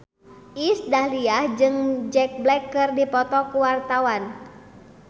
Iis Dahlia jeung Jack Black keur dipoto ku wartawan